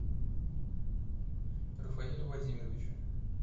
рафаэлю владимировичу